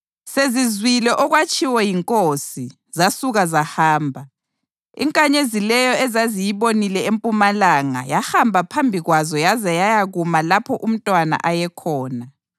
Sezizwile okwatshiwo yinkosi, zasuka zahamba, inkanyezi leyo ezaziyibonile empumalanga yahamba phambi kwazo yaze yayakuma lapho umntwana ayekhona.